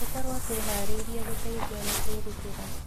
Tũkorwo twĩharĩrĩrie gũteithia na kwĩrutĩra